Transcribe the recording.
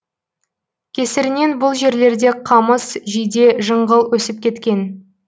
кесірінен бұл жерлерде қамыс жиде жыңғыл өсіп кеткен